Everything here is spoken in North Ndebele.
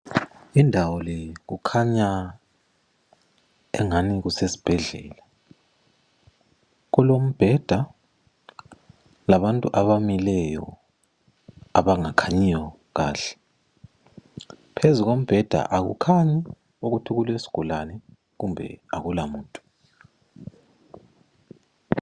Indawo leyi kukhanya engani kusesibhedlela, kulombheda labantu abamileyo abangakhanyiyo kahle, phezu kombheda akukhanyi ukuthi kuesigulane kumbe akulamuntu.